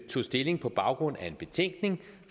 tog stilling på baggrund af en betænkning